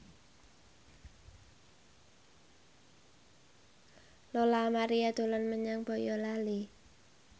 Lola Amaria dolan menyang Boyolali